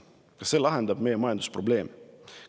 Kas see lahendab meie majandusprobleeme?